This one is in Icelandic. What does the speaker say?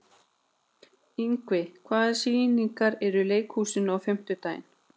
Ingvi, hvaða sýningar eru í leikhúsinu á fimmtudaginn?